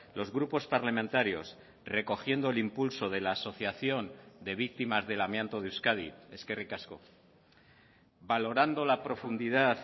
los grupos parlamentarios recogiendo el impulso de la asociación de víctimas del amianto de euskadi eskerrik asko valorando la profundidad